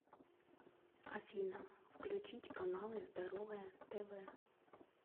афина включить каналы здоровое тв